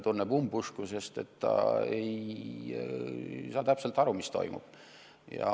Ta tunneb umbusku, sest ta ei saa täpselt aru, mis toimub.